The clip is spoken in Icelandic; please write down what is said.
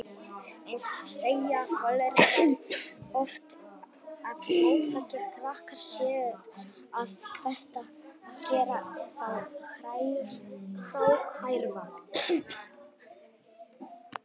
Eins segja foreldrar oft að óþekkir krakkar séu að gera þá gráhærða.